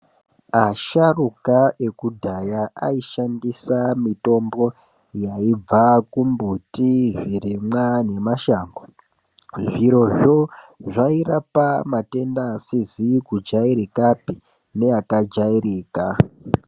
Asharuka ekudhaya aishandisa mitombo yaibva kumbuti, zvirimwa nemashango. Zvirozvo zvairapa matenda asizi kujairikapi neakajairika.